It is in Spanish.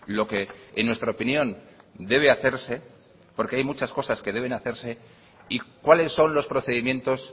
lo que en nuestra opinión debe hacerse porque hay muchas cosas que deben hacerse y cuáles son los procedimientos